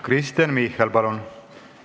Kristen Michal, palun!